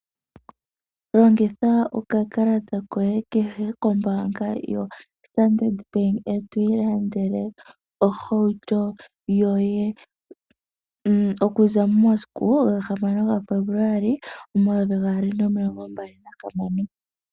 Longitha okakalata koye kombaanga yoStandard bank e twii landele ohauto yoye, okuza momasiku gahamano gaFebuluali omayovi gaali nomilongo mbali nahamano.